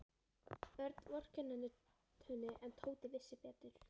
Örn vorkenndi henni en Tóti vissi betur.